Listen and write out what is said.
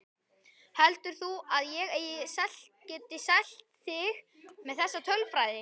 Heldur þú að ég geti selt þig með þessa tölfræði?